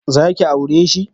Za ki aure shi?